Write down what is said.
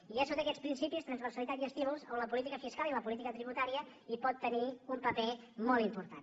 i és sota aquests principis transversalitat i estímuls on la política fiscal i la política tributària hi poden tenir un paper molt important